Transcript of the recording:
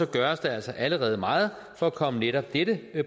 gøres der altså allerede meget for at komme netop dette